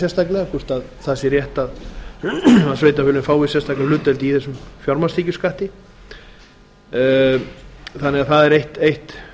sérstaklega hvort það sé rétt að sveitarfélögin fái sérstaka hlutdeild í þessum fjármagnstekjuskatti þannig að það er